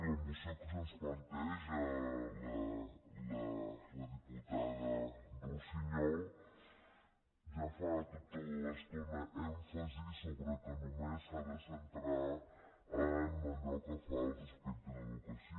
la moció que ens planteja la diputada russiñol ja fa tota l’estona èmfasi al fet que només s’ha de centrar en allò pel que fa respecte a l’educació